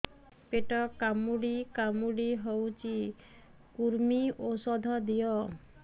ପେଟ କାମୁଡି କାମୁଡି ହଉଚି କୂର୍ମୀ ଔଷଧ ଦିଅ